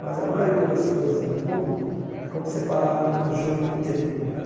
Mas a maioria das coisas do mundo é como separar o joio do trigo, né?